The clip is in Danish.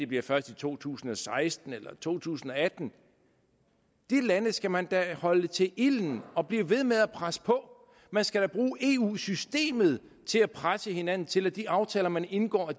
bliver først i to tusind og seksten eller to tusind og atten de lande skal man da holde til ilden og blive ved med at presse på over man skal da bruge eu systemet til at presse hinanden til at de aftaler man indgår